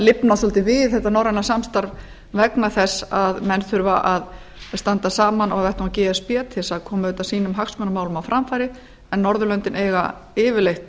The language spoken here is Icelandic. lifnað svolítið við þetta norræna samstarf vegna þess að menn þurfa að standa saman á vettvangi e s b til þess að koma auðvitað sínum hagsmunamálum á framfæri en norðurlöndin eiga yfirleitt